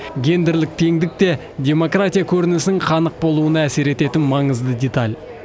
гендерлік теңдік те демократия көрінісінің қанық болуына әсер ететін маңызды деталь